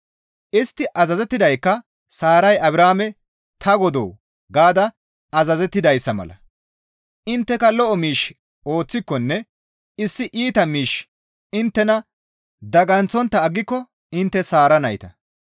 Istti azazettidaykka Saaray Abrahaame, «Ta Godoo!» gaada azazettidayssa mala; intteka lo7o miish ooththikonne issi iita miishshi inttena daganththontta aggiko intte Saara nayta.